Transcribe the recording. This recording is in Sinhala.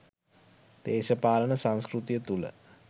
දේශපාලන සංස්කෘතිය තුළ